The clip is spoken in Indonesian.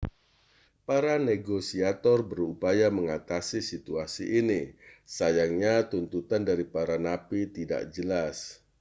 para negosiator berupaya mengatasi situasi ini sayangnya tuntutan dari para napi tidak jelas